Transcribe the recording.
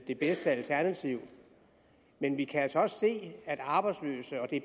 det bedste alternativ men vi kan altså også se at arbejdsløse og det er